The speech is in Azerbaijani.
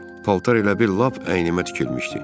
Paltar elə bir lap əynimə tikilmişdi.